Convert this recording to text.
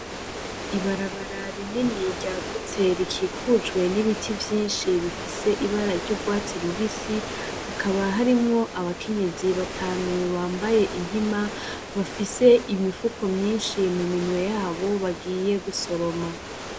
Ibarabarara rinini ryagutse rikikujwe n'ibiti vyinshi bifise ibara ry'urwatsi rubisi ,hakaba harimwo abakenyezi batanu bambaye inkima bafise imifuko myinshi ,mu minwe yabo bagiye gusoroma.